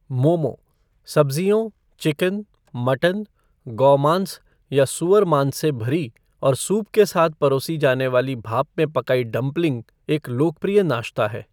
मोमो सब्ज़ियों, chicken, mutton, गौमांस या सुअरमांस से भरी और सूप के साथ परोसी जाने वाली भाप में पकाई डंपलिंग एक लोकप्रिय नाश्ता है।